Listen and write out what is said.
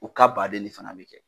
O ka baden ne fɛnɛ be kɛ